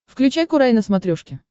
включай курай на смотрешке